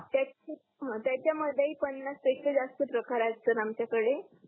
हा त्याच्या मध्ये पण त्याचा जास्त प्रकार असतात आमच्या आकडे